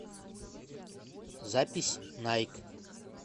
запись найк